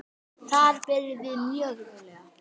Þar byrjum við mjög rólega.